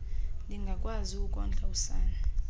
ndingakwazi ukondla usana